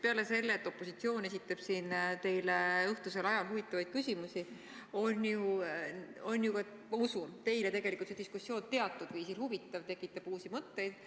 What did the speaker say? Peale selle, et opositsioon esitab siin teile õhtusel ajal opositsiooni huvitavaid küsimusi, on usutavasti see diskussioon ka teile huvitav: tekitab uusi mõtteid.